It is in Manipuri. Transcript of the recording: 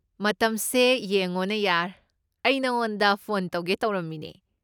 ꯃꯇꯝꯁꯦ ꯌꯦꯡꯉꯣꯅꯦ ꯌꯥꯔ, ꯑꯩ ꯅꯉꯣꯟꯗ ꯐꯣꯟ ꯇꯧꯒꯦ ꯇꯧꯔꯝꯃꯤꯅꯦ꯫